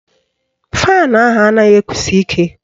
Faanụ ahụ anaghị ekusi ike